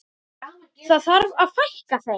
Það þarf að fækka þeim.